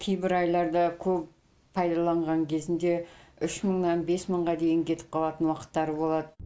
кейбір айларда көп пайдаланған кезінде үш мыңнан бес мыңға дейін кетіп қалатын уақыттары болады